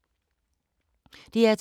DR2